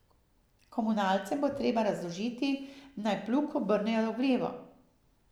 Komunalcem bo treba razložiti, naj plug obrnejo v levo.